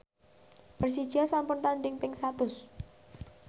Persija sampun tandhing ping satus